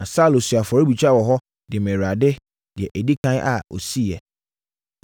Na Saulo sii afɔrebukyia wɔ hɔ, de maa Awurade, deɛ ɛdi ɛkan a ɔsiiɛ.